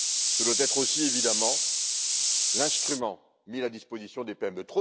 Ce doit être aussi, évidemment, l'instrument mis à la disposition des